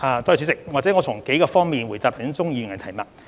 主席，讓我從數個方面回答鍾議員的提問。